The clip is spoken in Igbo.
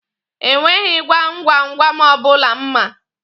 E nweghi gwam gwam gwam ọbụla m ma.